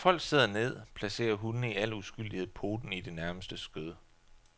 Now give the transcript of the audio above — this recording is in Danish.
Når folk sidder ned, placerer hundene i al uskyldighed poten i det nærmeste skød.